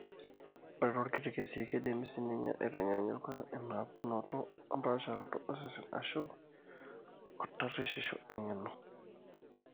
Ore toorkuti kesii, keidimi siininye aitanyaanyuka inapukunoto ompaasharot osesen ashu/o tarushisho eng'eno.